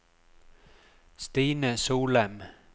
Stine Solem